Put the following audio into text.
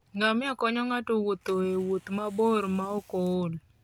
Ngamia konyo ng'ato wuotho e wuoth mabor maok ool.